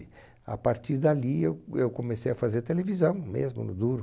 A partir dali, eu eu comecei a fazer televisão mesmo, no duro.